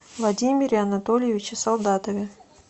владимире анатольевиче солдатове